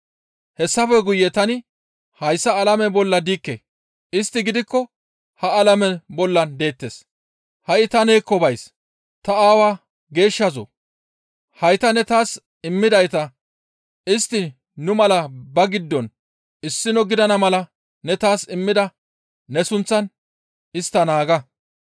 Hayssafe guye tani hayssa alame bolla diikke; istti gidikko ha alameza bolla deettes; ha7i ta neekko bays; ta Aawa Geeshshazoo! Hayta ne taas immidayta istti nu mala ba giddon issino gidana mala ne taas immida ne sunththaan istta naaga.